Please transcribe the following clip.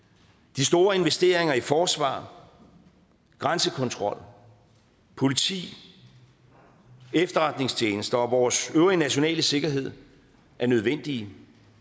de store investeringer i forsvar grænsekontrol politi efterretningstjenester og vores øvrige nationale sikkerhed er nødvendige